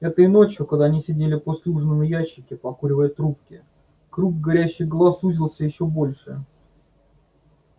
этой ночью когда они сидели после ужина на ящике покуривая трубки круг горящих глаз сузился ещё больше